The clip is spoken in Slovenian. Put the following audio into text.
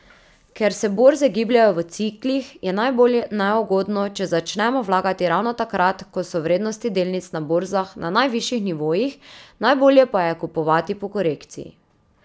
Ker se borze gibljejo v ciklih, je najbolj neugodno, če začnemo vlagati ravno takrat, ko so vrednosti delnic na borzah na najvišjih nivojih, najbolje pa je kupovati po korekciji.